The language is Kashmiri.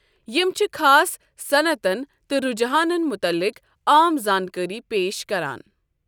یِم چھِ خاص صنعتَن تہٕ رُجحانَن متعلق عام زانٛکٲرِی پیش کران۔